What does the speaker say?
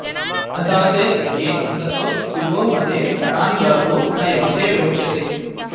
अधा॑ ते स॒ख्ये अन्ध॑सो॒ वि वो॒ मदे॒ रण॒न्गावो॒ न यव॑से॒ विव॑क्षसे